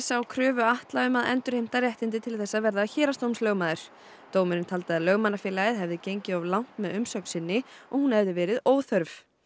á kröfu Atla um að endurheimta réttindi til þess að vera héraðsdómslögmaður dómurinn taldi að Lögmannafélagið hefði gengið of langt með umsögn sinni og hún verið óþörf